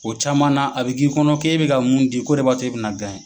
O caman na a bɛ k'i kɔnɔ k'e bɛ ka mun di ko de b'a to e bɛ na